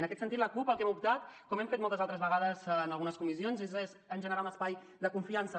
en aquest sentit la cup pel que hem optat com hem fet moltes altres vegades en algunes comissions és per generar un espai de confiança